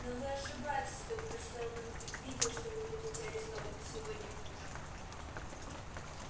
но вы ошибаетесь доктор сэлдон предвидел что вы будете арестованы сегодня утром